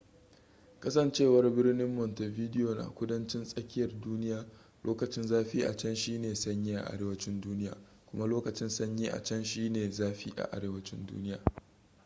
kasancewar birnin montevideo na kudancin tsakiyar duniya lokacin zafi a can shine na sanyi a arewacin duniya kuma lokacin sanyi a can shine na zafi a arewacin duniya